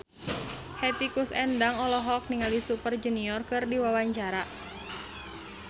Hetty Koes Endang olohok ningali Super Junior keur diwawancara